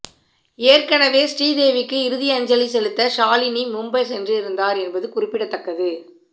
ஏற்கனவே ஸ்ரீதேவிக்கு இறுதியஞ்சலி செலுத்த ஷாலினி மும்பை சென்றிருந்தார் என்பது குறிப்பிடத்தக்கது